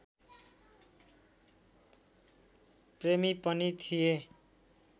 प्रेमी पनि थिए